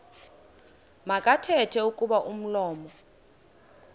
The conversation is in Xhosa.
makathethe kuba umlomo